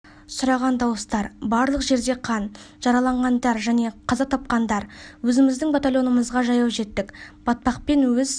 сұраған дауыстар барлық жерде қан жараланғандар және қаза тапқандар өзіміздің батальонымызға жаяу жеттік батпақпен өз